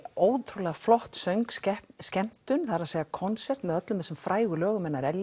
ótrúlega flott söngskemmtun það er að segja konsert með öllum þessum frægu lögum hennar